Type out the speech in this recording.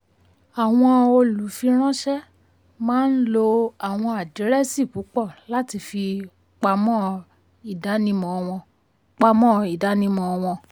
àwọn olùfiránṣẹ́ maa ń lo àwọn àdírẹ́sì púpọ̀ láti fi pamọ́ ìdánimọ̀ wọn. pamọ́ ìdánimọ̀ wọn.